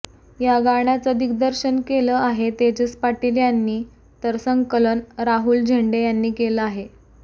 या गाण्याचं दिग्दर्शन केलं आहे तेजस पाटील यांनी तर संकलन राहुल झेंडे यांनी केलं आहे